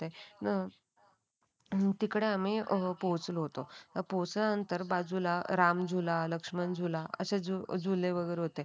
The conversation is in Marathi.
तिकडे आम्ही पोहोचलो होतो पोचल्यानंतर बाजूला राम झुला लक्ष्मण झुला असे झुले वगैरे होते.